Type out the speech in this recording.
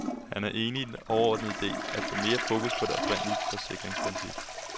Han er enig i den overordnede ide, at få mere fokus på det oprindelige forsikringsprincip.